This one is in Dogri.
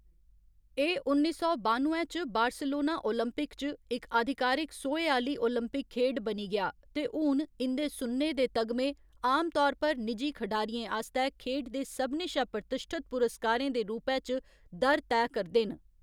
एह्‌‌ उन्नी सौ बानुए च बार्सिलोना ओलंपिक च इक आधिकारिक सोहे आह्‌ली ओलंपिक खेढ बनी गेआ ते हून इं'दे सुन्ने दे तगमे आम तौर पर निजी खढारियें आस्तै खेढ दे सभनें शा प्रतिश्ठत पुरस्कारें दे रूपै च दर तैऽ करदे न।